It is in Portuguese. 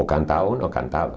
Ou cantava ou não cantava.